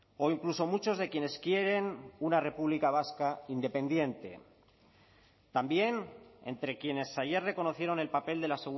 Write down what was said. o incluso muchos de quienes quieren una república vasca independiente también entre quienes ayer reconocieron el papel de la